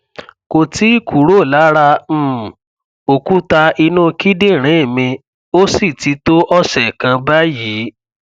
kò tíì kúrò lára um òkúta inú kíndìnrín mi ó sì ti tó ọsẹ kan báyìí